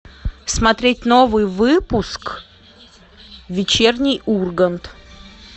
смотреть новый выпуск вечерний ургант